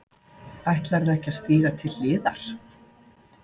Ætlarðu ekki að stíga til hliðar?